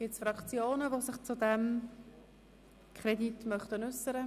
Gibt es Fraktionen, die sich zu diesem Kredit äussern möchten?